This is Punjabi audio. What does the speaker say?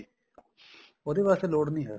ਉਹਦੇ ਵਾਸਤੇ ਲੋੜ ਨੀਂ ਹੈ